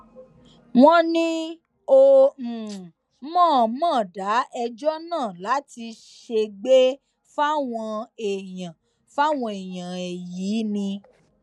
wọn ní ó um mọọnmọ dá ẹjọ náà láti ṣègbè fáwọn èèyàn fáwọn èèyàn ẹ yìí um ni